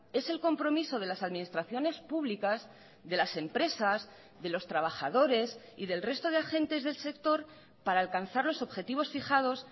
es el compromiso de las administraciones públicas de las empresas de los trabajadores y del resto de agentes del sector para alcanzar los objetivos fijados